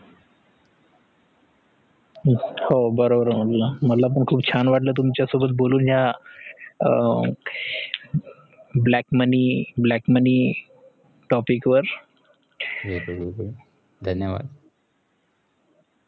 हो बरोबर मला पण खुप छान वाटल तुमच्यासोबत बोलुन या black moneyblack money topic वर